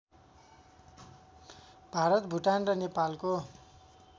भारत भुटान र नेपालको